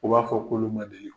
U b'a fɔ k'olu ma deli k